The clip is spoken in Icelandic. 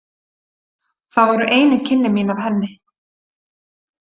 Það voru einu kynni mín af henni.